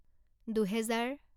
দুহেজাৰ